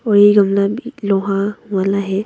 और ये गमला भी लोहा वाला है।